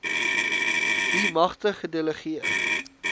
wie magte gedelegeer